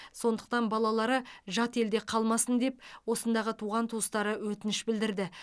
сондықтан балалары жат елде қалмасын деп осындағы туған туыстары өтініш білдірді